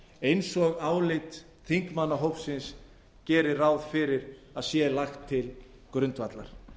eins og álit þingmannahópsins gerir ráð fyrir að sé lagt til grundvallar